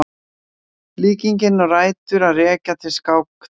Líkingin á rætur að rekja til skáktafls.